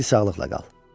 Di sağlıqla qal.